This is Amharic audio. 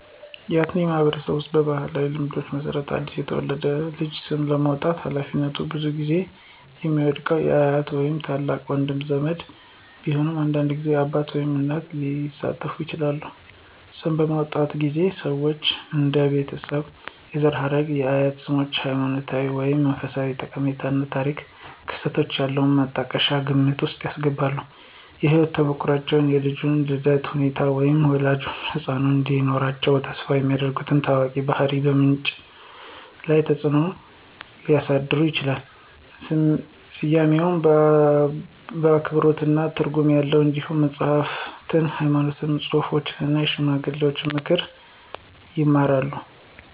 ያትአኔ ማህበረሰብ ውስጥ ባሉ ባህላዊ ልማዶች መሰረት አዲስ የተወለደውን ልጅ ስም የመስጠት ሃላፊነት ብዙውን ጊዜ የሚወድቀው አያት ወይም ታላቅ ወንድ ዘመድ ቢሆንም አንዳንድ ጊዜ አባት ወይም እናት ሊሳተፉ ይችላሉ። ስም በሚመርጡበት ጊዜ ሰዎች እንደ የቤተሰብ የዘር ሐረግ፣ የአያት ስሞች፣ ሃይማኖታዊ ወይም መንፈሳዊ ጠቀሜታ እና ታሪካዊ ክስተቶች ያሉ ማጣቀሻዎችን ግምት ውስጥ ያስገባሉ። የህይወት ተሞክሮዎች, የልጁ የልደት ሁኔታዎች, ወይም ወላጆች ህጻኑ እንዲኖራቸው ተስፋ የሚያደርጉ ታዋቂ ባህሪያት በምርጫው ላይ ተጽእኖ ሊያሳድሩ ይችላሉ. ስያሜው አክብሮትና ትርጉም ያለው እንዲሆን መጽሐፍትን፣ ሃይማኖታዊ ጽሑፎችን እና የሽማግሌዎችን ምክር ይማራሉ።